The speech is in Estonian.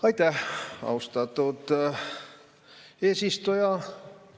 Aitäh, austatud eesistuja!